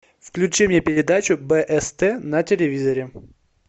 включи мне передачу бст на телевизоре